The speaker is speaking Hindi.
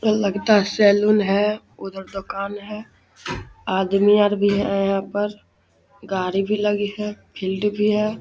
ये लगता सैलून है उधर दोकान है आदमी आर भी है यहाँ पर गाड़ी भी लगी है फील्ड भी है |